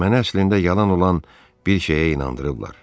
Məni əslində yalan olan bir şeyə inandırıblar.